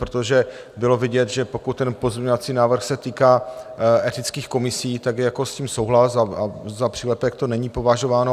Protože bylo vidět, že pokud ten pozměňovací návrh se týká etických komisí, tak je s tím souhlas a za přílepek to není považováno.